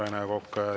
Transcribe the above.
Aitäh, Rene Kokk!